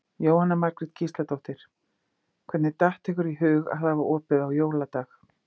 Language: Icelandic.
Jóhanna Margrét Gísladóttir: Hvernig datt ykkur í hug að hafa opið á jóladag?